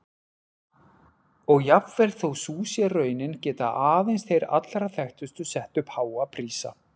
Og jafnvel þó sú sé raunin geta aðeins þeir allra þekktustu sett upp háa prísa.